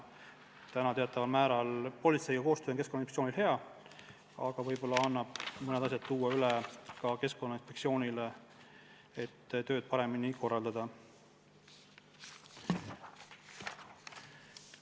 Politseiga koostöö on Keskkonnainspektsioonil küll hea, aga võib-olla annab mõned õigused üle anda Keskkonnainspektsioonile, et tööd paremini korraldada.